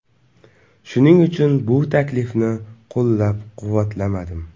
Shuning uchun bu taklifni qo‘llab-quvvatlamadim”.